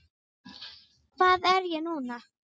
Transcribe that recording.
Hvað er ég núna?